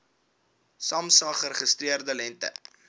samsa geregistreerde lengte